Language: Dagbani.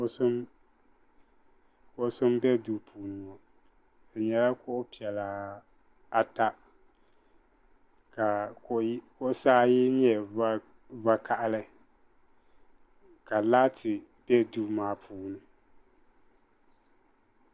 Kuɣusi n bɛ suu puuni ŋɔ di yɛla kuɣu piɛlla ata ka kuɣisi ayi yɛ vakahali ka laati bɛ duu maa.